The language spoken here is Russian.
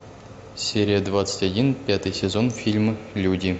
серия двадцать один пятый сезон фильм люди